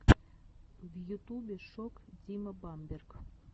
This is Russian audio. в ютубе шок дима бамберг